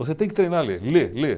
Você tem que treinar a ler, ler, ler.